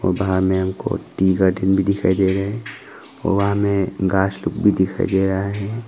वहाँ में हमको टी का टीन भी दिखाई दे रहा है। वहां में घास लोग भी दिखाई दे रहा है।